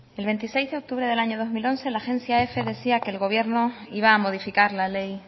el veintiséis de octubre del año dos mil once la agencia efe decía que el gobierno iba a modificar la ley